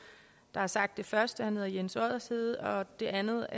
der har sagt det første han hedder jens oddershede og det andet